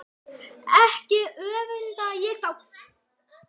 Ekki öfunda ég þá